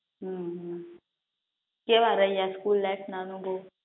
હમ કેવા રહ્યા સ્કૂલ લાઈફના અનુભવ